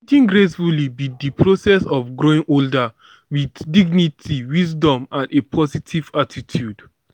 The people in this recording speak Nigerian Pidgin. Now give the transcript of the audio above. aging gracefully be di process of growing older with dignity wisdom and a positive attitude.